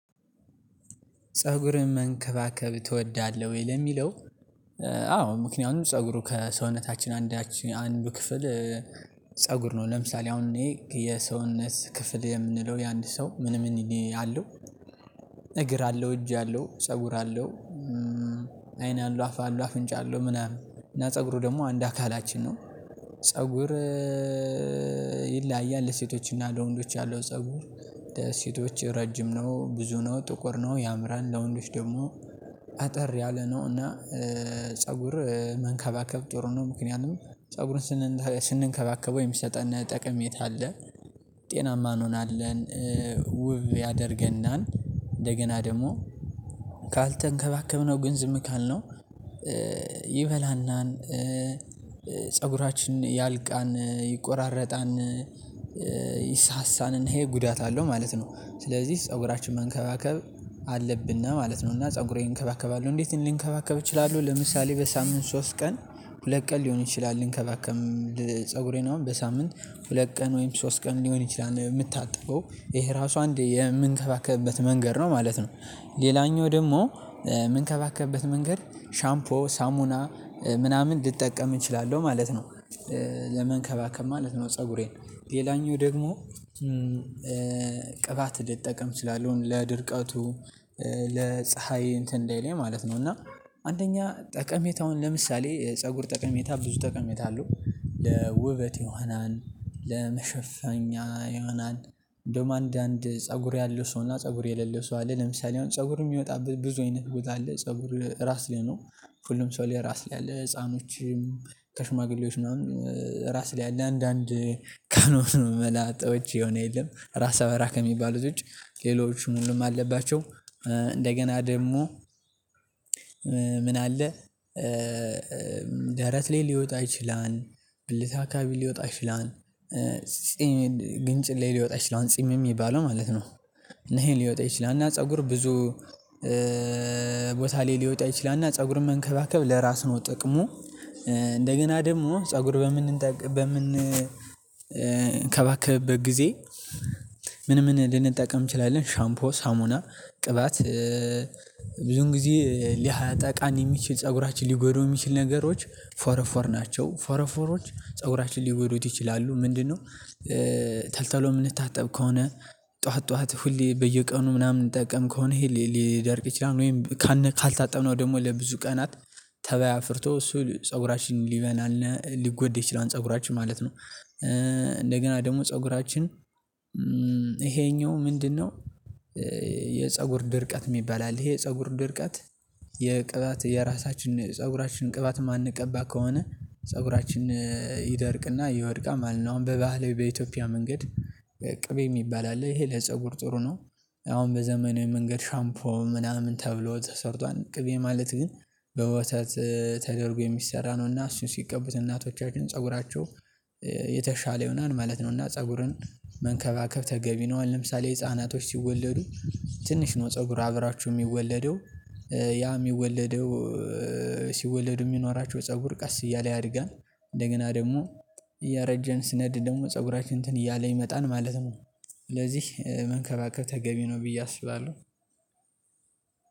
ፀጉርን መንከባከብ ትወዳለህ ወይ ለሚለው? አዎ ምክንያቱም ፀጉሩ ከሰውነታችን አንዳች አንዱ ክፍል ፀጉር ነው። ለምሳሌ አሁን እኔ የሰውነት ክፍል የምንለው የአንድ ሰው ምን ምን አለው። እግር አለው እጅ አለው ፀጉር አለው። አይን አለው አፍ አለው አፍንጫ አለው ምናምን እና ፀጉሩ ደግሞ አንድ አካላችን ነው። ፀጉር ለሴቶችና ለወንዶች ያለው ፀጉር ሴቶች ረጅም ነው ብዙ ነው ጥቁር ነው ያምራል። ለወንዶች ደግሞ አጠር ያለ ነው እና ፀጉር መንከባከብ ጥሩ ነው። ምክንያቱም ፀጉርን ስንከባከበው የሚሰጠን ጠቅሜታ አለ። ጤናማ እንሆናለን። ውብ ያደርገናል እንደገና ደግሞ ካልተንከባከብነው ግን ዝም ካልነው ይበላናል። ፀጉራችን ያልቃል ይቆራረጣል። ይሳሳል እና ይሄ ጉዳት አለው ማለት ነው። ስለዚህ ፀጉራችን መንከባከብ አለብን ማለት ነውና። ፀጉሬን እንከባከባለሁ እንዴት ልንከባከብ እችላለሁ? ለምሳሌ በሳምንት ሶስት ቀን ሁለት ቀን ሊሆን ይችላል ልንከባከብ ፀጉሬን አሁን በሳምንት ሁለት ቀን ወይም ሶስት ቀን ሊሆን ይችላል። የምታጥበው ይሄ ራሱ አንድ የምንከባከብበት መንገድ ነው ማለት ነው። ሌላኛው ደግሞ የምንከባከብበት መንገድ ሻምፖ ሳሙና ምናምን ልጠቀም እችላለሁ ማለት ነው። ለመንከባከብ ማለት ነው ፀጉሬን ሌላኛው ደግሞ ቅባት ልጠቀም እችላለሁን? ለድርቀቱ ለፀሀይ እንትን እንዳይለኝ ማለት ነው። እና አንደኛ ጠቀሜታውን ለምሳሌ ፀጉር ጠቀሜታ ብዙ ጠቅሜታ አለው። ለውበት ይሆናል ለመሸፈኛ ይሆናል እንደውም አንዳንድ ፀጉር ያለው ሰውና ፀጉር የሌለው ሰው አለ። ለምሳሌ አሁን ፀጉር የሚወጣበት ብዙ አይነት ቦታ አለ። ፀጉር ራስ ላይ ነው ሁሉም ሰው ራስ ላይ አለ። ህፃኖችም ከሽማግሌዎች ምናምን ራስ ላይ አለ አንዳንድ ከኖሩ መላጦች የሆነ የለም ራስ በራ ከሚባሉት ውጪ ሌሎች ሙሉም አለባቸው። እንደገና ደግሞ ምን አለ? ደረት ላይ ሊወጣ ይችላል ብልት አካካቢ ሊወጣ ይችላል። ጺም ግንጭል ሊወጣ ይችላል ጺም የሚባለው ማለት ነው። እና ይሄ ሊወጣ ይችላል እና ፀጉር ብዙ ላይ ሊወጣ ይችላልና ፀጉርን መንከባከብ ለራስ ነው ጥቅሙ። እንደገና ደግሞ ፀጉር በምን በምን ከባከበት ጊዜ ምን ምን ልንጠቀም እንችላለን? ሻምፖ ሳሙና ቅባት ብዙን ጊዜ ሊያጠቃን የሚችል ፀጉራችን ሊጎዳው የሚችል ነገሮች ፎረፎር ናቸው ፎረፎሮች ፀጉራችን ሊጎዱት ይችላሉ። ምንድንነው? ተልተሎ የምንታጠብ ከሆነ ጠዋት ጠዋት ሁሌ በየቀኑ ምናምን ምንጠቀም ከሆነ ይሄ ሊደርቅ ይችላል። ወይም ካልታጠብነው ደግሞ ለብዙ ቀናት ተባይ አፍርቶ እሱ ፀጉራችንን ሊበላነ ሊጎድ ይችላል። ፀጉራችን ማለት ነው። እንደገና ደግሞ ፀጉራችን ይሄኛው ምንድንነው? የፀጉር ድርቀት የሚባል አለ ይሄ ፀጉር ድርቀት የቅባት የራሳችን ፀጉራችን ቅባት የማንቀባ ከሆነ ፀጉራችን ይደርቅና ይወድቃማል። አሁን በባህላዊ በኢትዮጵያ መንገድ ቅቤ የሚባል አለ ይሄ ለፀጉር ጥሩ ነው። አሁን በዘመናዊ መንገድ ሻምፖ ምናምን ተብሎ ተሰርቷል ቅቤ ማለት ግን በወተት ተደርጎ የሚሰራ ነው እና እሱን ሲቀቡት እናቶቻችን ፀጉራቸው የተሻለ ይሆናል ማለት ነው። እና ፀጉርን መንከባከብ ተገቢ ነው። አሁን ለምሳሌ ህፃናቶች ሲወለዱ ትንሽ ነው ፀጉር አብሮቸው የሚወለደው ያ የሚወለደው ሲወለድ የሚኖራቸው ፀጉር ቀስ እያለ ያድጋል። እንደገና ደግሞ እያረጀን ስንሄድ ደግሞ ፀጉራችን እንትን እያለ ይመጣል ማለት ነው። ስለዚህ መንከባከብ ተገቢ ነው ብዬ አስባለሁ።